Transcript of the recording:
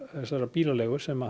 bílaleigu sem